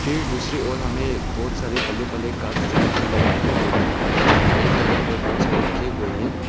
फिर दूसरी और हमें बहुत सारे पल्ले पल्ले कांच दिखाई देने मिल रहे हैं जो की एक जगह पर बहुत सारी रखे हुए हैं।